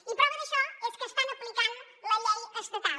i prova d’això és que estan aplicant la llei estatal